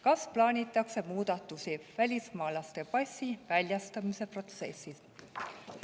Kas plaanitakse muudatusi välismaalase passi väljastamise protsessis?